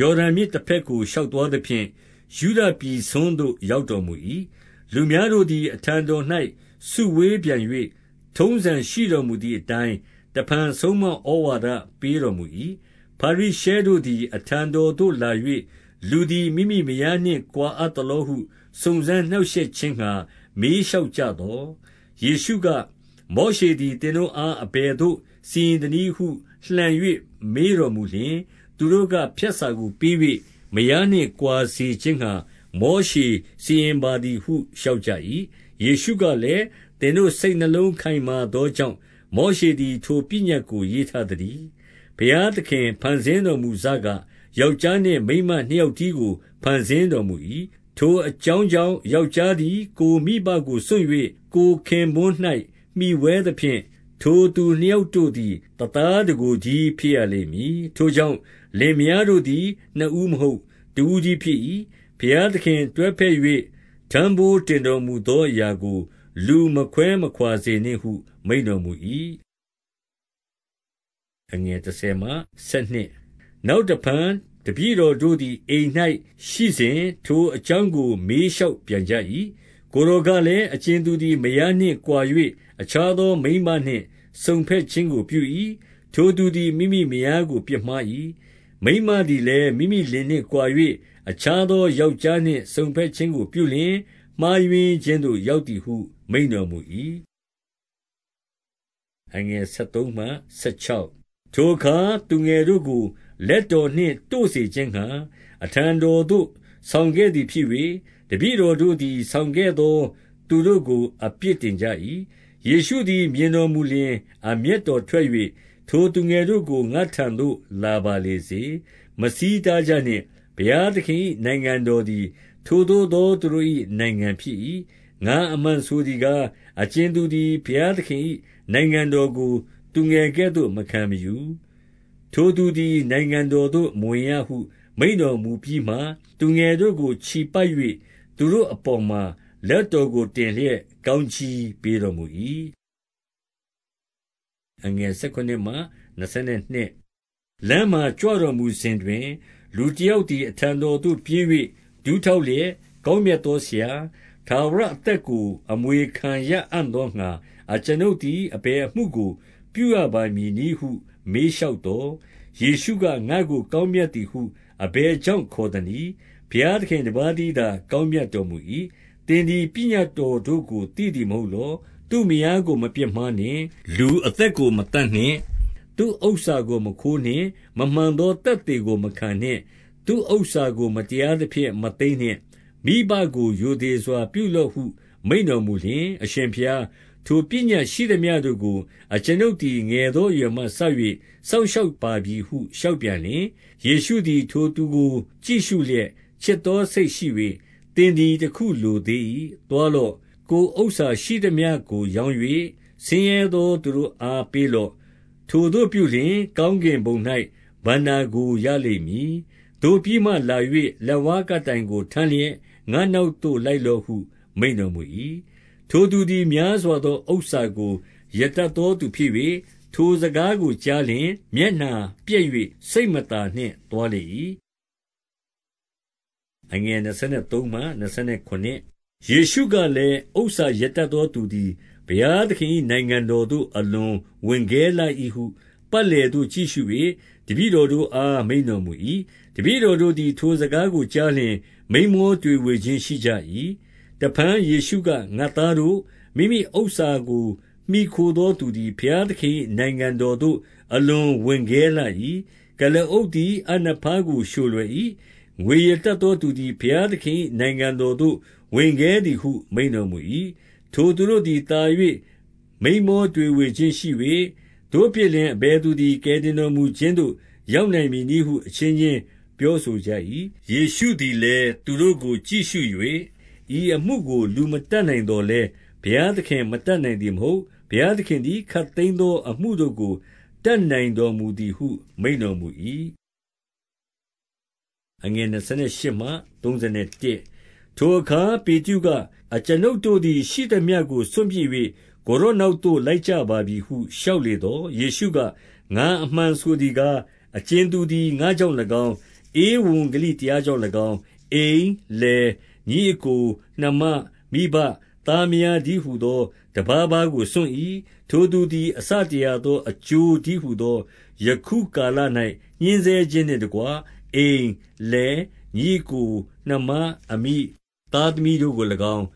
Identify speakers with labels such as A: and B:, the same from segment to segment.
A: ယော်ဒန်မြစ်တဘက်ကို ရှောက်သွားသဖြင့် ယုဒပြည်စွန်းသို့ ရောက် တော်မူ၏။ လူများတို့သည် အထံတော်၌စုဝေးပြန်၍၊ ထုံးစံရှိတော်မူသည်အတိုင်းတဖန် ဆုံးမဩဝါဒ ပေးတော် မူ၏။ ဖာရိရှဲတို့သည် အထံတော်သို့လာ၍၊ လူသည် မိမိမယားနှင့်ကွာအပ်သလောဟု စုံစမ်းနှောင့်ရှက်ခြင်း ငှါ မေးလျှောက်ကြသော်၊ ယေရှုက၊ မောရှေသည်သင်တို့အား အဘယ်သို့ စီရင်သနည်းဟုလှန်၍ မေးတော်မူလျှင်၊ သူတို့က၊ ဖြတ်စာကို ပေး၍မယားနှင့် ကွာစေခြင်းငှါ မောရှေစီရင်ပါသည်ဟု လျှောက်ကြ၏။ ယေရှုကလည်း၊ သင်တို့စိတ်နှလုံး ခိုင်မာသောကြောင့် မောရှေသည် ထိုပညတ်ကို ရေးထားသတည်း။ ဘုရားသခင်ဖန်ဆင်းတော်မူစက ယောက်ျားနှင့်မိန်းမနှစ်ယောက်တည်းကို ဖန်ဆင်းတော်မူ၏။ ထိုအကြောင်းကြောင့် ယောက်ျားသည် ကိုယ်မိဘကိုစွန့်၍ ကိုယ်ခင်ပွန်း၌မှီဝဲသဖြင့်၊ ထိုသူနှစ်ယောက်တို့သည် တသားတကိုယ်တည်းဖြစ်ရလိမ့်မည်။ ထိုကြောင့် လင်မယားတို့သည် နှစ်ဦး မဟုတ် တဦးတည်းဖြစ်၏။ ဘုရားသခင် တွဲဘက်၍ ထမ်းဘိုးတင်တော်မူသောအရာကို လူမခွဲမခွါစေနှင့်ဟု မိန့်တော်မူ၏။ နောက်တဖန်တပည့်တော်တို့သည် အိမ်၌ရှိစဉ်၊ ထိုအကြောင်းကို မေးလျှောက်ပြန်ကြ၏။ ကိုယ်တော်ကလည်း၊ အကြင်သူသည် မယားနှင့်ကွာ၍ အခြားသောမိန်းမနှင့်စုံထက်ခြင်းကိုပြ၏။ ထို သူသည် မိမိမယားကို ပြစ်မှား၏။ မိန်းမသည်လည်း မိမိလင်နှင့်ကွာ၍ အခြားသောယောက်ျားနှင့်စုံဘက်ခြင်းကိုပြုလျှင် မှားယွင်းခြင်းသို့ ရောက်သည်ဟု မိန့်တော်မူ၏။ ထိုအခါသူငယ်တို့ကို လက်တော်နှင့် တို့စေခြင်းငှါ အထံတော်သို့ ဆောင်ခဲ့သည်ဖြစ်၍၊ တပည့်တော် တို့သည် ဆောင်ခဲ့သောသူတို့ကို အပြစ်တင်ကြ၏။ ယေရှုသည်မြင်တော်မူလျှင် အမျက်တော်ထွက်၍၊ ထိုသူငယ်တို့ကို ငါ့ထံသို့လာပါစေလေ။ မဆီးတား ကြနှင့်။ ဘုရားသခင်၏နိုင်ငံတော်သည် ထိုသို့သောသူတို့၏ နိုင်ငံဖြစ်၏။ ငါအမှန်ဆိုသည်ကား၊ အကြင်သူသည် ဘုရားသခင်၏နိုင်ငံတော်ကို သူငယ်ကဲ့သို့မခံယူ၊ ထိုသူသည် နိုင်ငံတော်သို့မဝင်ရဟု မိန့်တော်မူပြီးမှ၊ သူငယ်တို့ကို ချီပိုက်၍ သူတို့အပေါ်မှာ လက်တော်ကိုတင်လျက် ကောင်းကြီးပေးတော်မူ၏။ လမ်းမှာကြွတော်မူစဉ်တွင် လူတယောက်သည် အထံတော်သို့ပြေး၍ ဒူးထောက်လျက်၊ ကောင်းမြတ် သောဆရာ၊ ထာဝရအသက်ကို အမွေခံရအံ့သောငှါ အကျွန်ုပ်သည် အဘယ်အမှုကိုပြုရပါမည်နည်းဟု မေး လျှောက်သော်၊ ယေရှုက၊ ငါ့ကိုကောင်းမြတ်သည်ဟု အဘယ်ကြောင့်ခေါ်သနည်း။ ဘုရားသခင်တပါးတည်းသာ ကောင်းမြတ်တော်မူ၏။ သင်သည် ပညတ်တော်တို့ကို သိသည်မဟုတ်လော။ သူ့မယားကိုမပြစ်မှားနှင့်။ လူအသက်ကို မသတ် နှင့်။ သူဥစ္စာကိုမခိုးနှင့်။ မမှန်သောသက်သေကိုမခံနှင့်။ သူ့ဥစ္စာကို မတရားသဖြင့်မသိမ်းနှင့်။ မိဘကို ရိုသေစွာ ပြုလော့ဟု မိန့်တော်မူလျှင်၊ အရင်ဘုရား၊ ထိုပညတ်ရှိသမျှတို့ကို အကျွန်ုပ်သည် ငယ်သောအရွယ်မှစ၍ စောင့်ရှောက်ပါပြီဟု လျှောက်ပြန်လျှင်၊ ယေရှုသည်၊ ထိုသူကိုကြည့်ရှုလျက် ချစ်သောစိတ်ရှိ၍၊ သင်သည်အခုလိုသေး၏။ သွားလော့။ ကိုယ် ဥစ္စာရှိသမျှကိုရောင်း၍ ဆင်းရဲသောသူတို့အား ပေးလော့။ ထိုသို့ပြုလျှင်၊ ကောင်းကင်ဘုံ၌ ဘဏ္ဍာကို ရလိမ့် မည်။ သို့ပြီးမှလာ၍ လက်ဝါးကပ်တိုင်ကိုထမ်းလျက် ငါ့နောက်သို့လိုက်လော့ဟု မိန့်တော်မူ၏။ ထိုသူသည် များစွာသောဥစ္စာကို ရတတ်သောသူဖြစ်၍၊ ထိုစကားကိုကြားလျှင် မျက်နှာပျက်၍ စိတ် မသာသည်နှင့်သွားလေ၏။ ယေရှုကလည်း၊ ဥစ္စာရတတ်သောသူသည် ဘုရားသခင်၏နိုင်ငံတော်သို့ အလွန်ဝင်ခဲလှ၏ဟု ပတ် လည်သို့ကြည့်ရှု၍ တပည့်တော်တို့အား မိန့်တော်မူ၏။ တပည့်တော်တို့သည် ထိုစကားကိုကြားလျှင်၊ မိန်မောတွေဝေခြင်းရှိကြ၏။ တဖန်ယေရှုက၊ ငါသားတို့၊ မိမိဥစ္စာကိုမှီခိုသောသူသည် ဘုရားသခင်၏ နိုင်ငံတော်သို့အလွန်ဝင်ခဲလှ၏။ ကုလားအုပ်သည် အပ်နဖားကိုလျှိုလွယ်၏။ ငွေရတတ်သောသူသည် ဘုရားသခင်၏နိုင်ငံတော်သို့ ဝင်ခဲသည်ဟု မိန့်တော်မူ၏။ ထိုသူတို့သည် သာ၍မိန်းမောတွေဝေခြင်းရှိ၍၊ သို့ဖြစ်လျှင် အဘယ်သူသည် ကယ်တင်တော်မူခြင်းသို့ ရောက်နိုင်မည်နည်းဟု အချင်းချင်းပြောဆိုကြ၏။ ယေရှုကလည်း၊ သူတို့ကိုကြည့်ရှု၍၊ ဤအမှုကို လူမတတ်နိုင်သော်လည်း၊ ဘုရားသခင် မတတ်နိုင် သည်မဟုတ်။ ဘုရားသခင်သည် ခပ်သိမ်းသောအမှုတို့ကို တတ်နိုင်တော်မူသည်ဟု မိန့်တော်မူ၏။ ထိုအခါ၊ ပေတရုက၊ အကျွန်ုပ်တို့သည် ရှိသမျှကိုစွန့်ပစ်၍ ကိုယ်တော်နောက်သို့ လိုက်ကြပါပြီဟု လျှောက်လေသော်၊ ယေရှုက၊ ငါအမှန်ဆိုသည်ကား၊ အကြင်သူသည် ငါ့ကြောင့်၎င်း၊ ဧဝံဂေလိတရားကြောင့်၎င်း၊ အိမ်၊ လယ်၊ ညီအစ်ကို၊ နှမ၊ မိဘ၊ သားမယားတည်းဟူသော တပါးပါးကိုစွန့်၏။ ထိုသူသည် အဆတရာသော အကျိုးတည်းဟူသော ယခုကာလ၌ ညှဉ်းဆဲခြင်းနှင့်တကွ အိမ်၊ လယ်၊ ညီအစ်ကို၊ နှမ၊ အမိ၊ သားသမီးတို့ကို၎င်း၊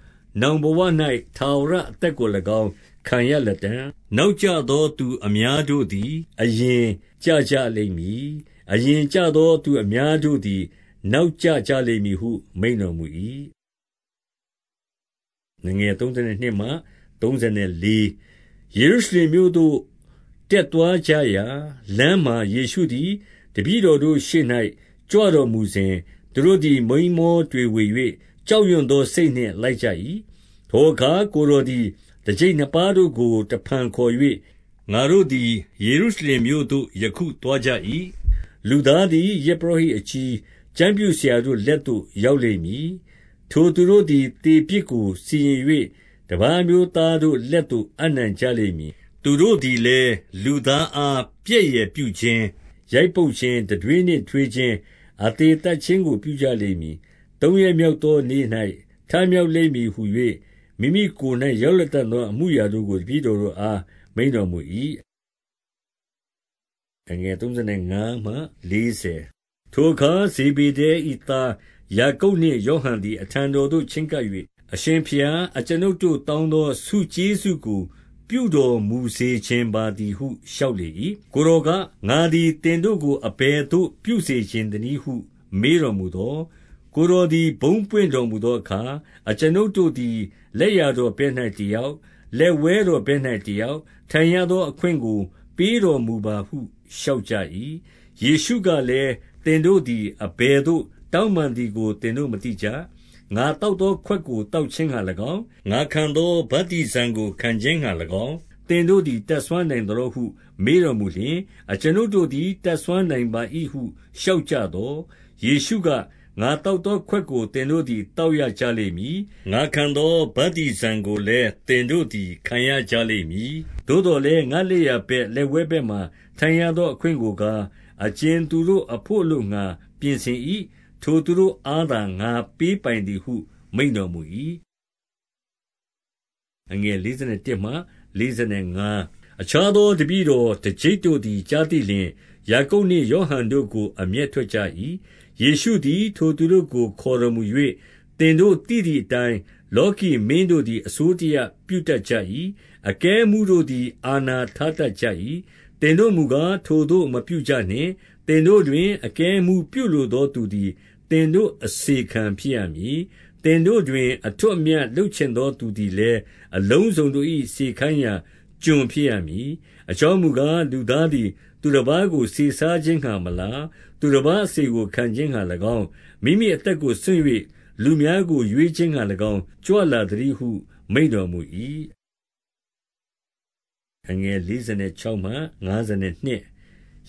A: နောင်ဘဝ၌ ထာဝရအသက်ကို၎င်း ခံရလတံ့။ နောက်ကျသောသူအများတို့သည် အရင်ကျကြလိမ့်မည်။ အရင်ကျကြသောသူအများတို့သည် နောက် ကျကြလိမ့်မည်ဟု မိန့်တော်မူ၏။ ယေရှုရုရှလင်မြို့သို့ တက်သွားကြရာ၊ လမ်းမှာ ယေရှုသည်တပည့်တော်တို့ရှေ့၌ ကြွတော်မူစဉ်၊ သူတို့ သည် မိန်းမောတွေဝေ၍ ကြောက်ရွံ့သောစိတ်နှင့် လိုက်ကြ၏။ ထိုအခါ ကိုယ်တော်သည် တကျိပ်နှစ်ပါးတို့ကို တဖန်ခေါ်၍၊ ငါတို့သည်ယေရှုရှလင်မြို့သို့ ယခုသွားကြ၏။ လူသားသည် ယဇ်ပုရောဟိတ်အကြီး၊ ကျမ်းပြုဆရာတို့လက်သို့ ရောက်လိမ့်မည်။ ထိုသူတို့သည် သေ ပြစ်ကို စီရင်၍ တပါးအမျိုးသားတို့လက်သို့ အပ်နှံကြလိမ့်မည်။ သူတို့သည်လည်း လူသားအားပြက်ယယ်ပြုခြင်း၊ ရိုက်ပုတ်ခြင်း၊ တံတွေးနှင့်ထွေးခြင်း၊ အသေသတ်ခြင်း ကို ပြုကြလိမ့်မည်။ သုံးရက်မြော်ကသောနေ့၌ထမြောက်လိမ့်မည်ဟူ၍ မိမိကိုယ်၌ရောက်လတံ့သော အမှုအရာ တို့ကို တပည့်တော်တို့အား မိန့်တော်မူ၏။ ထိုအခါ ဇေဗေဒ၏သား ယာကုပ်နှင့် ယောဟန်သည် အထံတော်သို့ ချဉ်းကပ်၍၊ အရှင်ဘုရား၊ အကျွန်ုပ်တို့တောင်းသော ဆုကျေးဇူးကို ပြုတော်မူစေချင်ပါသည်ဟု လျှောက်လေ၏။ ကိုယ်တော်က၊ ငါသည်သင်တို့ကို အဘယ်သို့ပြုစေချင်သနည်းဟု မေတော်မူသော်၊ ကိုယ်တော်သည် ဘုန်းပွင့်တော်မူသောအခါ အကျွန်ုပ်တို့သည် လက်ျားဘက်၌တယောက်၊ လက်ဝဲ တော်ဘက်၌ တယောက်တိုင်ရသောအခွင့်ကို ပေးတော်မူပါဟု လျှောက်ကြ၏။ ယေရှုကလည်း၊ သင်တို့သည် အဘယ်သို့တောင်းပန်သည်ကို သင်တို့မသိကြ။ ငါသောက်သောခွက်ကို သောက်ခြင်းငှါ၎င်း၊ ငါခံသောဗတ္တိဇံကိုခံခြင်းငှါ၎င်း၊ သင်တို့သည် တတ်စွမ်းနိုင်သလောဟု မေးတော်မူလျှင်၊ အကျွန်ုပ်တို့သည် တတ်စွမ်းနိုင်ပါ၏ဟု လျှောက်ကြသော်၊ ယေရှုက၊ ငါသောက်သောခွက်ကို သင်တို့ သည် သောက်ရကြလိမ့်မည်။ ငါခံသောဗတ္တိဇံကိုလည်း သင်တို့သည်ခံရကြလိမ့်မည်။ သို့သော်လည်း ငါလက်ျာဘက်လက်ဝဲဘက်မှာ ထိုင်ရသောအခွင့်ကိုကား အကြင်သူတို့အဘို့အလိုငှါ ပြင်ဆင်၏၊ ထိုသူတို့အားသာ ငါပေးပိုင်သည်ဟု မိန့်တော်မူ၏။ အခြားသော တပည့်တော်တကျိပ်တို့သည်ကြားသိလျှင်၊ ယာကုပ်နှင့်ယောဟန်တို့ကို အမျက်ထွက် ကြ ၏။ ယေရှုသည် ထိုသူတို့ကိုခေါ်တော်မူ၍၊ သင်တို့သိသည်အတိုင်း လောကီမင်းတို့သည် အစိုးတရပြုတတ် ကြ၏။ အကဲအမှုးတို့သည် အာဏာထားတတ်ကြ၏။ သင်တိုမူကား၊ ထိုသို့မပြုကြနှင့်။ သင်တို့တွင် အကဲအမှူးပြုလိုသောသူသည် သင်တို့အစေခံဖြစ်ရမည်။ သင်တို့တွင် အထွဋ်အမြတ်လုပ်ချင်သောသူသည်လည်း အလုံးစုံတို့၏စေခိုင်းရာ ကျွန်ဖြစ်ရမည်။ အကြောင်းမူကား၊ လူသားသည် သူတပါးကို စေစားခြင်းငှါမလာ၊ သူတပါးအစေကို ခံခြင်းငှါ၎င်း၊ မိမိအသက်ကိုစွန့်၍ လူများကို ရွေးခြင်းငှါ၎င်း၊ ကြွလာသတည်းဟု မိန့်တော်မူ၏။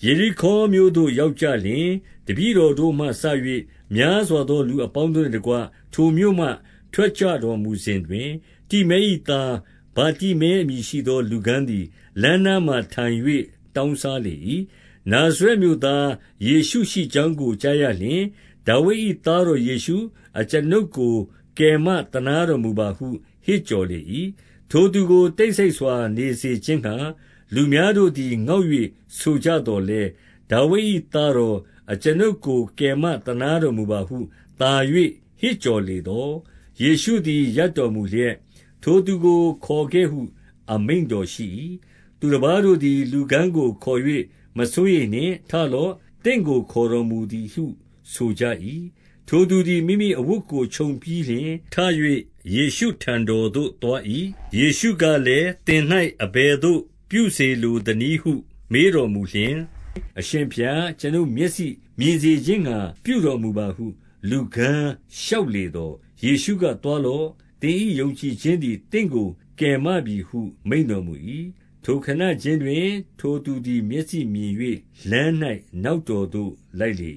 A: ယေရိခေါမြို့သို့ရောက်ကြလျှင်၊ တပည့်တော်တို့မှစ၍ များစွားသောလူအပေါင်းတို့နှင့်တကွ ထိုမြို့မှ ထွက်ကြွတော်မူစဉ်တွင်၊ တိမဲ၏သား ဗာတိမဲအမည်ရှိသော လူကန်းသည် လမ်းနားမှာထိုင်၍ တောင်းစားလေ ၏။ နာဇရက်မြို့သား ယေရှုရှိကြောင်းကို ကြားရလျှင်၊ ဒါဝိဒ်၏သားတော်ယေရှု၊ အကျွန်ုပ်ကို ကယ်မ သနားတော်မူပါဟု ဟစ်ကြော်လေ၏။ ထိုသူကို တိတ်ဆိတ်စွာနေစေခြင်းငှါ လူအများတို့သည် ငေါက်၍ဆိုကြသော်လည်း၊ ဒါဝိဒ်၏ သား တော်၊ အကျွန်ုပ်ကိုကယ်မသနားတော်မူပါဟု သာ၍ ဟစ်ကြော်လေသော်၊ ယေရှုသည် ရပ်တော်မူလျက်၊ ထိုသူကိုခေါ်ခဲ့ဟု အမိန့်တော်ရှိ၏။ သူတပါးတို့သည် လူကန်းကိုခေါ်၍ မစိုးရိမ်နှင့်၊ ထလော့။ သင့်ကို ခေါ်တော်မူသည်ဟုဆိုကြ၏။ ထိုသူသည် မိမိအဝတ်ကို ခြုံပြီးလျှင်၊ ထ၍ ယေရှုထံတော်သို့သွား၏။ ယေရှုကလည်း၊ သင်၌ အဘယ်သို့ ပြုစေလိုသနည်းဟု မေးတော်မူလျှင်၊ အရှင်ဘုရား အကျွန်ုပ်မျက်စိကိုမြင်စေခြင်းငှါ ပြုတော်မူပါဟု လူကန်းလျှောက်လေသော်၊ ယေရှုက၊ သွားလော့။ သင်၏ယုံကြည်ခြင်းသည် သင့်ကိုကယ်မပြီဟုမိန့်တော်မူ၏။ ထိုခဏခြင်းတွင် ထိုသူသည် မျက်စိ မြင်၍ လမ်း၌နောက်တော်သို့လိုက်လေ